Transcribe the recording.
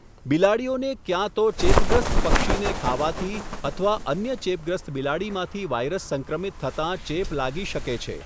બિલાડીઓને ક્યાં તો ચેપગ્રસ્ત પક્ષીને ખાવાથી અથવા અન્ય ચેપગ્રસ્ત બિલાડીમાંથી વાયરસ સંક્રમિત થતાં ચેપ લાગી શકે છે.